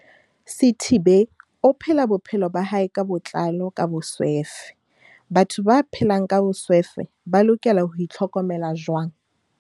Sithibe o phela bophelo ba hae ka botlalo ka boswefe Batho ba phelang ka boswefe ba lokela ho itl hokomela jwang?